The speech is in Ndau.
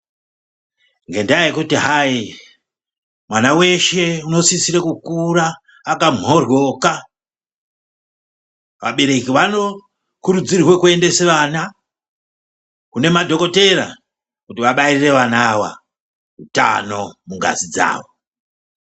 Ngendaa yekuti hai mwana weshe unosisirwa kukura akamhoryoka , vabereki vanokurudzirwa kuendesa vana ava kune madhokoteya kuti vabaire vana ava mungazi dzavo.